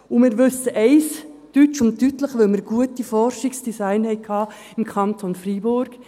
Weil wir im Kanton Fribourg gute Forschungsdesigns hatten, wissen wir eines deutsch und deutlich: